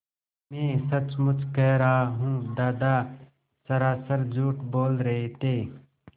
मैं सचमुच कह रहा हूँ दादा सरासर झूठ बोल रहे थे